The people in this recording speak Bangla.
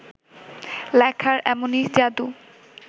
লেখার এমনই যাদু